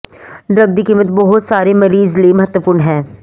drug ਦੀ ਕੀਮਤ ਬਹੁਤ ਸਾਰੇ ਮਰੀਜ਼ ਲਈ ਮਹੱਤਵਪੂਰਨ ਹੈ